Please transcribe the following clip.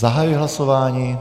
Zahajuji hlasování.